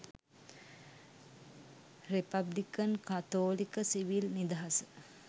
republican කතෝලික 'සිවිල් නිදහස'